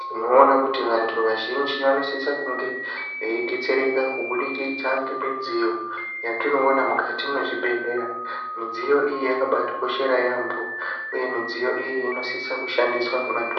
tinoona kuti vantu vazhinji vanosisa kunge veidetsereka kubudikidza ngemidziyo yatinoona mukati mwezvibhehleya. Midziyo iyi yakabatikoshera yaamho uye midziyo iyi inosisa kushandiswa ngemadho.